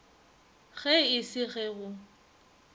ge e se ge go